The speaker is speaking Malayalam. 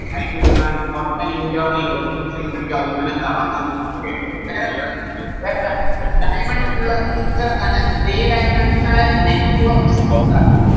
എന്നാൽ Total internal reflection കാണിക്കും അതുകൊണ്ടിങ്ങനെ തെളങ്ങും Okay ഇനിയെന്താ വേറെന്താ Diamond നുള്ള structure എന്താണ് Three dimensional network structure ആണ്